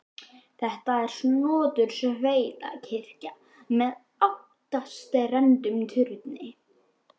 Þetta er snotur sveitakirkja með áttstrendum turni.